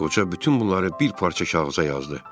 Qoca bütün bunları bir parça kağıza yazdı.